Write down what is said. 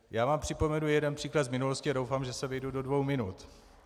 Já vám připomenu jeden příklad z minulosti a doufám, že se vejdu do dvou minut.